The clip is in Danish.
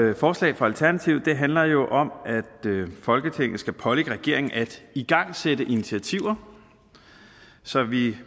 her forslag fra alternativet handler jo om at folketinget skal pålægge regeringen at igangsætte initiativer så vi